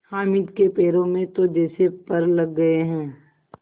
हामिद के पैरों में तो जैसे पर लग गए हैं